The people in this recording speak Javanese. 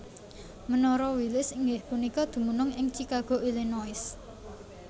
Menara Willis inggih punika dumunung ing Chicago Illinois